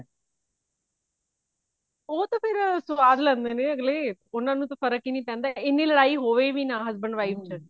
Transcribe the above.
ਉਹ ਤਾਂ ਫ਼ੇਰ ਸਵਾਦ ਲੈਂਦੇ ਨੇ ਅਗਲੇ ਉਹਨਾ ਨੂੰ ਤਾਂ ਫਰਕ ਹੀ ਨੀ ਪੈਂਦਾ ਇੰਨੀ ਲੜਾਈ ਹੋਵੇ ਵੀ ਨਾ husband wife ਚ